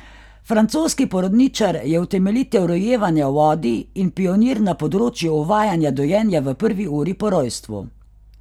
Francoski porodničar je utemeljitelj rojevanja v vodi in pionir na področju uvajanja dojenja v prvi uri po rojstvu.